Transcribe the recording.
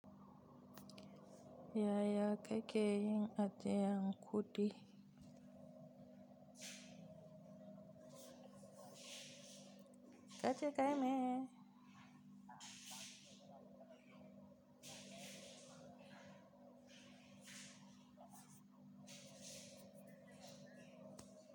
Ya ya kake yin ajiyan kudi. Kace kayi meyene.